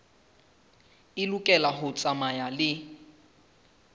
e lokela ho tsamaya le